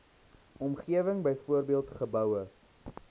omgewing byvoorbeeld geboue